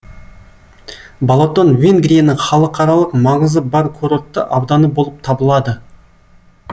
балатон венгрияның халықаралық маңызы бар курортты ауданы болып табылады